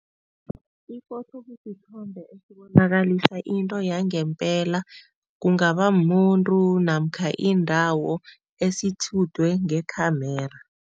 Iphotho kusithombe esibonakalisa into yangempela kungaba mumuntu namkha indawo esitjhudwe ngekhe-camera.